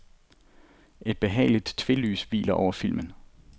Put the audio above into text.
Et behageligt tvelys hviler over filmen.